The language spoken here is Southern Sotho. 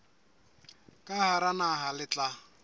ka hara naha le tla